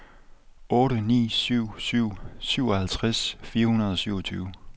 otte ni syv syv syvoghalvtreds fire hundrede og syvogtyve